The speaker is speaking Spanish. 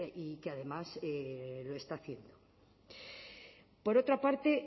y que además lo está haciendo por otra parte